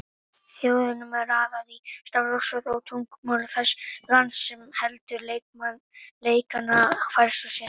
Þjóðunum er raðað í stafrófsröð á tungumáli þess lands sem heldur leikana hverju sinni.